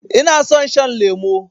Ina son shan lemo